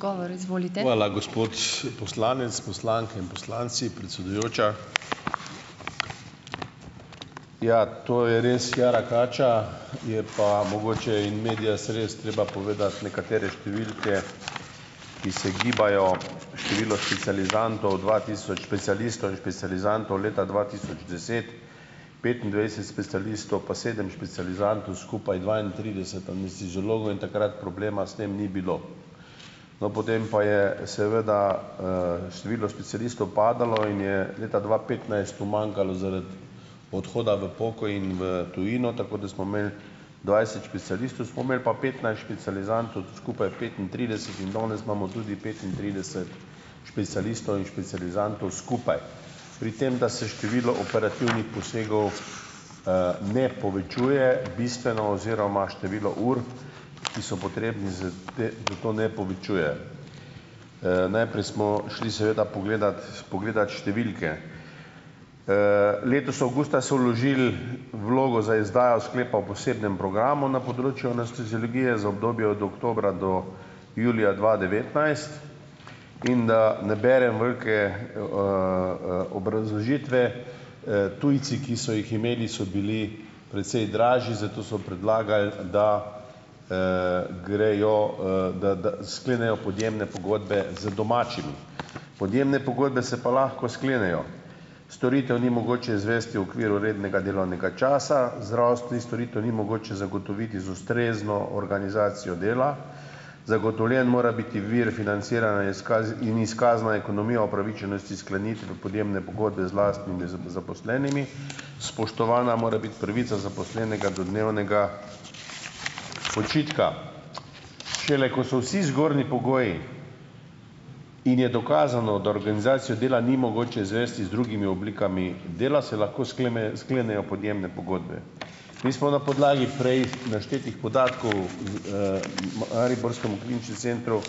Hvala, gospod poslanec. Poslanke in poslanci, predsedujoča! Ja, to je res jara kača, je pa mogoče in medias res, treba povedati nekatere številke, ki se gibajo. Število specializantov, dva tisoč specialistov in specializantov leta dva tisoč deset - petindvajset specialistov pa sedem specializantov, skupaj dvaintrideset anesteziologov in takrat problema s tem ni bilo. No, potem pa je seveda, število specialistov padalo in je leta dva petnajst umanjkalo zaradi odhoda v pokoj in v tujino, tako da smo imeli dvajset specialistov, smo imeli pa petnajst specializantov, skupaj petintrideset in danes imamo tudi petintrideset specialistov in specializantov skupaj. Pri tem, da se število operativnih posegov, ne povečuje bistveno oziroma število ur, ki so potrebne za, da da to ne povečuje. najprej smo šli seveda pogledat pogledat številke. letos avgusta so vložili vlogo za izdajo sklepa o posebnem programu na področju anesteziologije za obdobje od oktobra do julija dva devetnajst, in da ne berem velike, obrazložitve, tujci, ki so jih imeli, so bili precej dražji, zato so predlagali, da, grejo, da da sklenejo podjemne pogodbe z domačimi. Podjemne pogodbe se pa lahko sklenejo: storitev ni mogoče izvesti v okviru rednega delovnega časa, zdravstvenih storitev ni mogoče zagotoviti z ustrezno organizacijo dela, zagotovljen mora biti vir financiranja in izkazno ekonomijo opravičenosti sklenitve podjemne pogodbe z lastnimi zaposlenimi, spoštovana mora biti pravica zaposlenega do dnevnega počitka. Šele ko so vsi zgornji pogoji, in je dokazano, da organizacijo dela ni mogoče izvesti z drugimi oblikami dela, se lahko sklenejo podjemne pogodbe. Mi smo na podlagi prej naštetih podatkov z, mariborskemu kliničnemu centru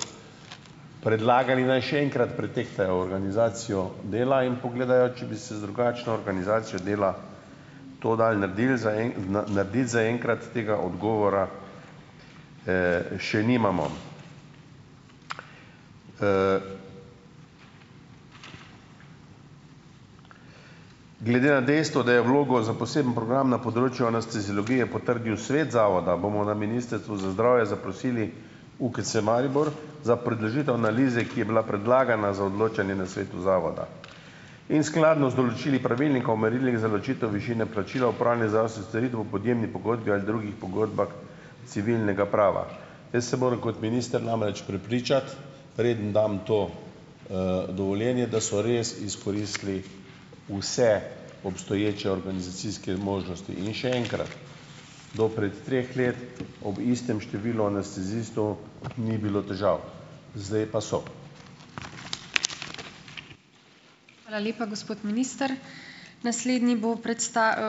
predlagali, naj še enkrat pretehtajo organizacijo dela in pogledajo, če bi se z drugačno organizacijo dela to dalo naredili. narediti, zaenkrat tega odgovora, še nimamo. Glede na dejstvo, da je vlogo za posebno program na področju anesteziologije potrdil sveta zavoda, bomo na Ministrstvu za zdravje zaprosili UKC Maribor za predložitev analize, ki je bila predlagana za odločanje na svetu zavoda. In skladno z določili pravilnika o merilih za ločitev višine plačila opravljanja zdravstvenih storitev v podjemni pogodbi ali drugih pogodbah civilnega prava. Jaz se moram kot minister namreč prepričati, preden dam to, dovoljenje, da so res izkoristili vse obstoječe organizacijske možnosti. In še enkrat, do pred treh let ob istem številu anestezistov ni bilo težav, zdaj pa so.